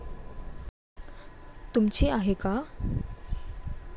तुमची आहे का?